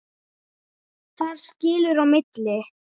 Þar skilur á milli.